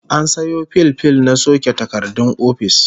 An sayo fil fil na soke takardun ofis